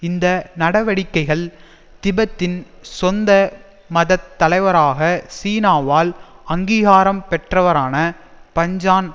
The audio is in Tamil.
இந்த நடவடிக்கைகள் திபெத்தின் சொந்த மதத் தலைவராக சீனாவால் அங்கீகாரம் பெற்றவரான பஞ்சான்